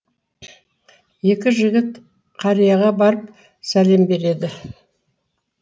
екі жігіт қарияға барып сәлем береді